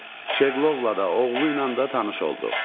Şeqlovla da, oğluyla da tanış olduq.